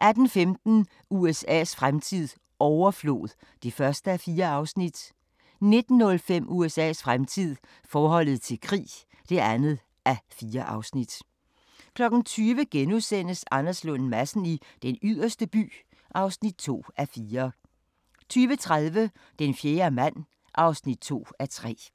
18:15: USA's fremtid - overflod (1:4) 19:05: USA's fremtid - forholdet til krig (2:4) 20:00: Anders Lund Madsen i Den Yderste By (2:4)* 20:30: Den fjerde mand (2:3)